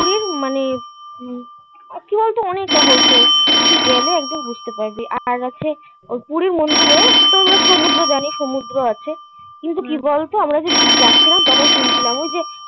কি মানে কি বলতো অনেক রহস্য. তুই গেলে একদিন বুঝতে পারবি. আর কাছে ওই পুরি মন্দিরে. তোমরা সমুদ্র জানি সমুদ্র আছে. কিন্তু কি বলতো? আমরা যে যাচ্ছিলাম. তখন শুনছিলাম. ওই যে